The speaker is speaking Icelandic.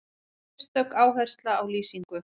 Sérstök áhersla á lýsingu.